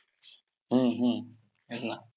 आणि विविध धर्मांकडे त्यांचा कल होता.